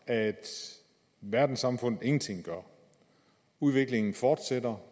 at verdenssamfundet ingenting gør at udviklingen fortsætter